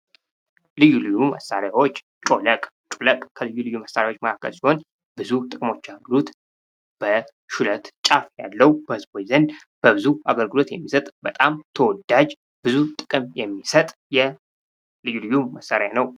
ልዩ ልዩ መሣሪያዎች ጮለቅ ከ ልዩ ልዩ መሳሪያ መካከል ሲሆን፤ ብዙ ጥቅሞች አሉት። በሹለት ጫፍ ያለው በሕዝቡ ዘንድ በብዙ አገልግሎት የሚሰጥ በጣም ተወዳጅ ብዙ ጥቅም የሚሰጥ የ ልዩ ልዩ መሳሪያ ነው።